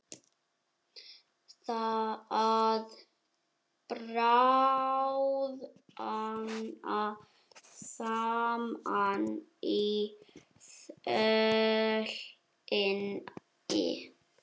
Að bráðna saman í sólinni